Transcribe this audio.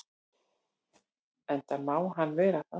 Enda má hann vera það.